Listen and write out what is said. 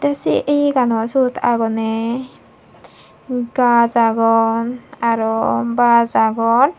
ei sei yeganot siyot agonney gaaj agon aro baaj agon.